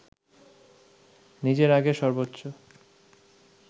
নিজের আগের সর্বোচ্চ